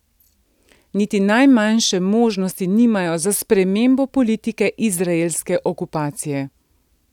Niti najmanjše možnosti nimajo za spremembo politike izraelske okupacije.